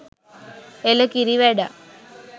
එළ කිරි වැඩක්